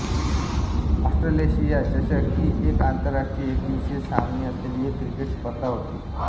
Australasia चषक ही एक आंतरराष्ट्रीय एकदिवसीय सामने असलेली एक क्रिकेट स्पर्धा होती